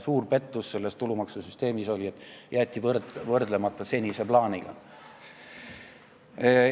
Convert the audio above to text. Suur pettus selles tulumaksusüsteemis oli see, et jäeti senise plaaniga võrdlemata.